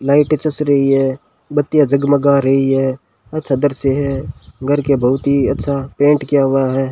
Light चस रही है बत्तियां जगमगा रही है अच्छा दृश्य है घर के बहुत ही अच्छा पेंट किया हुआ है।